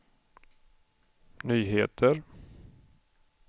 nyheter